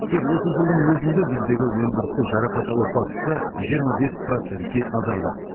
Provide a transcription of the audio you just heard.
тек осы жылдың өзінде біздегі өндірістік жарақат алу фактісі жиырма бес процентке азайды